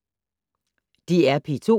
DR P2